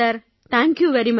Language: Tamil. thank you very much